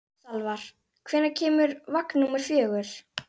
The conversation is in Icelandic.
Salvar, hvenær kemur vagn númer fjögur?